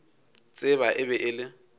tseba e be e le